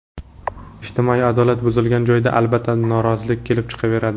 Ijtimoiy adolat buzilgan joyda, albatta, norozilik kelib chiqaveradi.